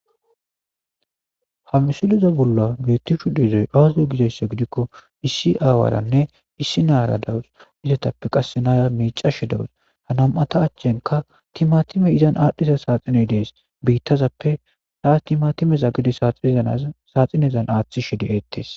Hamisuliza bolla beettishu diizoy aazio gizayssa gidikko issi aawaaranne issi naara dawus izetappe qass naya miicashe dawus hanam'ata achchenka timatime izan aadhdhiza saaxiney dees biittazappe taas timatimeza gide saaxinezan aaththi shedi eettees.